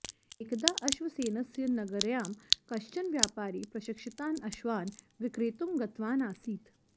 एकदा अश्वसेनस्य नगर्यां कश्चन व्यापारी प्रशिक्षितान् अश्वान् विक्रेतुं गतवान् आसीत्